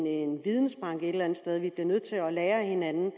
vidensbank et eller andet sted vi bliver nødt til at lære af hinanden